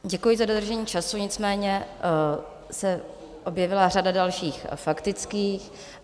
Děkuji za dodržení času, nicméně se objevila řada dalších faktických.